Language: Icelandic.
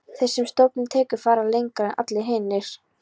Þeir sem stóllinn tekur fara lengra en allir hinir.